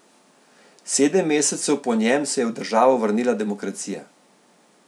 Sedem mesecev po njem se je v državo vrnila demokracija.